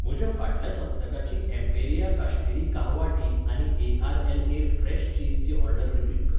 म्हज्या फाटल्या सप्तकाची एम्पेरिया काश्मीरी काहवा टी आनी एआरएलए फ्रेश चीज ची ऑर्डर रिपीट कर.